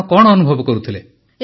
ଆପଣ କଣ ଅନୁଭବ କରୁଥିଲେ